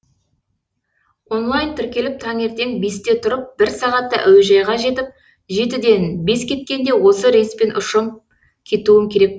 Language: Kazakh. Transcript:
онлайн тіркеліп таңертең бесте тұрып бір сағатта әуежайға жетіп жетіден бес кеткенде осы рейспен ұшып кетуім керек